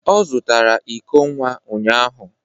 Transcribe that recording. Ọ zụtara iko nwa ụnyahụ